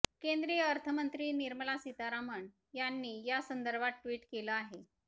केंद्रीय अर्थमंत्री निर्मला सीतारामन यांनी या संदर्भात ट्वीट केलं आहे